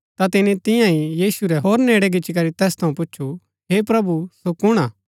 ता तिनी तियां ही यीशु रै होर नेड़ै गिच्ची री तैस थऊँ पूच्छु हे प्रभु सो कुण हा